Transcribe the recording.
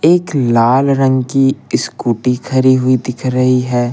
एक लाल रंग की स्कूटी खरी हुई दिख रही है।